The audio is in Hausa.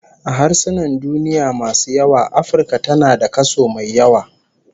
A harsunan duniya masu yawa Afirka tana da kaso mai yawa